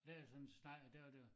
Lavede sådan så snak og der var der var